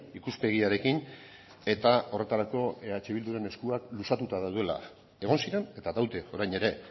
ikuspegiarekin eta horretarako eh bilduren eskuak luzatuta daudela egon ziren eta daude orain ere